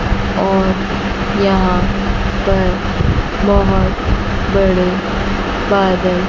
और यहां पर बहोत बड़े बादल--